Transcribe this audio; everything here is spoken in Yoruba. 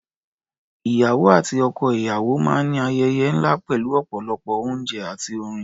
Ìyàwó àti ọkọ-ìyàwó máa ń ayẹyẹ ńlá pẹ̀lú ọ̀pọ̀lọpọ̀ oúnjẹ àti orin.